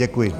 Děkuji.